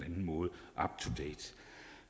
anden måde